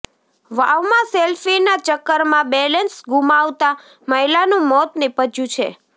વાવમાં સેલ્ફીના ચક્કરમાં બેલેન્સ ગુમાવતા મહિલાનું મોત નીપજ્યું છે